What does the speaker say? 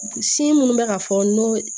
Sin minnu bɛ ka fɔ n'o